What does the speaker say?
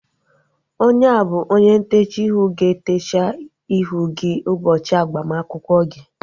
Onye a bụ onye ntechaa ihu ga-etecha ihu gị ụbọchị agbamakwụkwọ gị